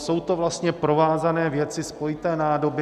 Jsou to vlastně provázané věci, spojité nádoby.